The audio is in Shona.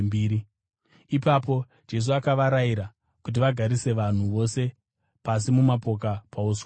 Ipapo Jesu akavarayira kuti vagarise vanhu vose pasi mumapoka pauswa hunyoro.